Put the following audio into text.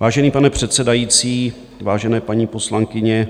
Vážený pane předsedající, vážené paní poslankyně,